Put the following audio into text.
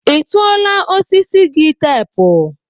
ị tụọla osisi gị teepu?